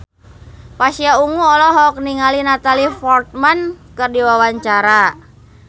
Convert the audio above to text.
Pasha Ungu olohok ningali Natalie Portman keur diwawancara